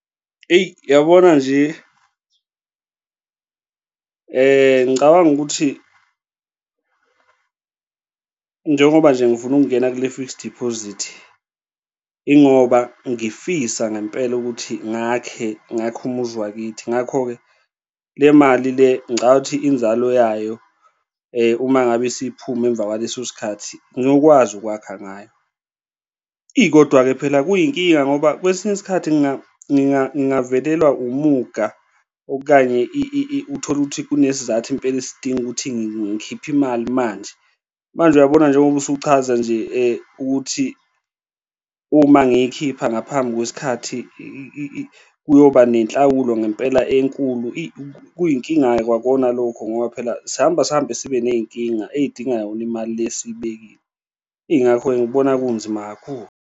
Eyi yabona nje, ngicabanga ukuthi njengoba nje ngifuna ukungena kule fixed deposit, ingoba ngifisa ngempela ukuthi ngakhe, ngakhe umuzi wakithi. Ngakho-ke le mali le ngicathi inzalo yayo uma ngabe isiphuma emva kwaleso sikhathi ngiyokwazi ukwakha ngayo, eyi, kodwa-ke phela kuyinkinga ngoba kwesinye isikhathi ngingavelelwa umuga okanye uthole ukuthi kunesizathu impela esidinga ukuthi ngikhiphe imali manje, manje uyabona njengoba usuchaza nje ukuthi uma ngiyikhipha ngaphambi kwesikhathi, kuyoba nenhlawulo ngempela enkulu, eyi, kuyinkinga-ke kwakona lokho ngoba phela sihamba sihambe sibe ney'nkinga ey'dingayo imali le esiyibekile. Ingakho-ke ngikubona kunzima kakhulu.